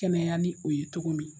Kɛnɛya ni o ye cogo min